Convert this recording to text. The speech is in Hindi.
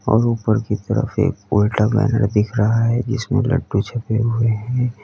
और ऊपर की तरफ एक उल्टा बैनर दिख रहा है जिसमें लड्डू छपे हुए हैं।